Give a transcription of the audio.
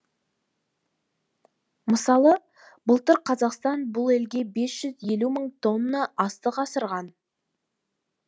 мысалы былтыр қазақстан бұл елге бес жүз елу мың тонна астық асырған